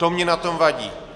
To mně na tom vadí.